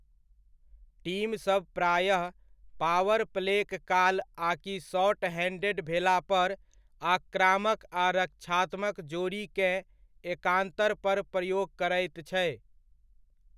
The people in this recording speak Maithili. टीमसभ प्रायः पावर प्लेक काल आकि शॉर्ट हैण्डेड भेलापर आक्रमक आ रक्षात्मक जोड़ीकेँ एकान्तर पर प्रयोग करैत छै।